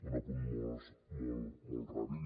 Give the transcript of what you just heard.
un apunt molt molt ràpid